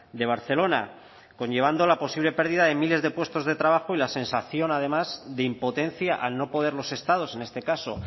de barcelona conllevando la posible pérdida de miles de puestos de trabajo y la sensación además de impotencia al no poder los estados en este caso